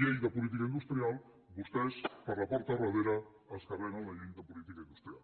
llei de política industrial vostès per la porta del darrere es carreguen la llei de política industrial